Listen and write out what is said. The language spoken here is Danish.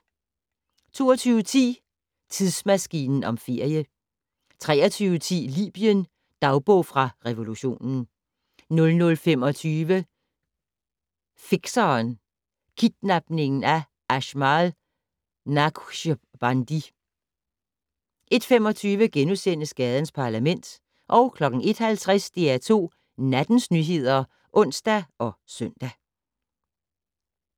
22:10: Tidsmaskinen om ferie 23:10: Libyen - dagbog fra revolutionen 00:25: Fikseren: Kidnapningen af Ajmal Naqshbandi 01:25: Gadens Parlament * 01:50: DR2 Nattens nyheder (ons og søn)